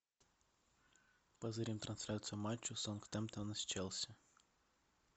позырим трансляцию матча саутгемптона с челси